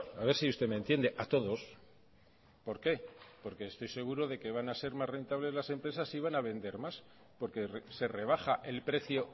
a ver si usted me entiende a todos por qué porque estoy seguro de que van a ser más rentables las empresas y van a vender más porque se rebaja el precio